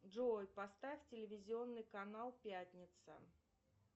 джой поставь телевизионный канал пятница